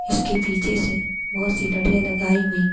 इसके पीछे से बोहोत सी लडीयां लगाई हुई--